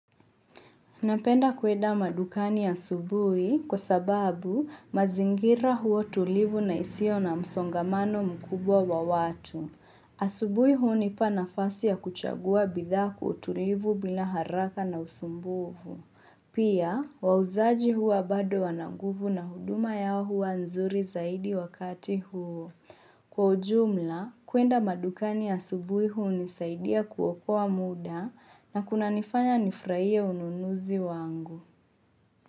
Napenda kuenda madukani asubuhi kwa sababu mazingira huwa tulivu na isiyo na msongamano mkubwa wa watu. Asubuhi hunipa nafasi ya kuchagua bidhaa kwa utulivu bila haraka na usumbufu. Pia, wauzaji huwa bado wana nguvu na huduma yao huwa nzuri zaidi wakati huo. Kwa ujumla, kuenda madukani asubuhi hunisaidia kuokoa muda na kunanifanya nifurahie ununuzi wangu.